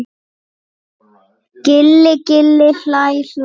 Gilli gilli hlæ hlæ.